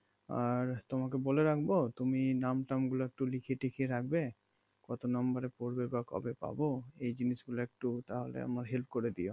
আর তোমাকে বলে রাখবো তুমি নাম টাম গুলো একটু লিখিয়ে ঠিকিয়ে রাখবে কত number এ পড়বে বা কবে পাবো এই জিনিস গুলো একটু তাহলে আমার help করেও দিয়ো